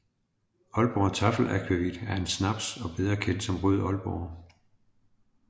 Aalborg Taffel Akvavit er en snaps og bedre kendt som Rød Aalborg